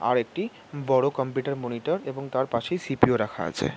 আর একটি বড়ো computer monitor এবং তার পাশেই সি.পি.ইউ রাখা আছে ।